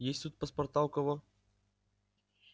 есть тут паспорта у кого